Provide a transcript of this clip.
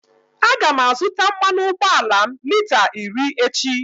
A ga m azụta mmanụ ụgbọala m lita iri echi.